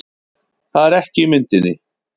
Það er ekki í myndinni